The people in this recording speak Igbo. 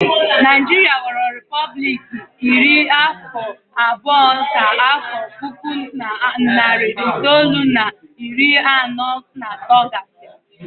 Naijiria ghọrọ repọblik iri afọ abụọ ka afọ puku na narị itoolu na iri anọ na atọ gasịrị